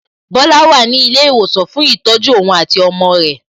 Bola wà ní ilé ìwòsàn fún ìtọ́jú ohun àti ọmọ rẹ̀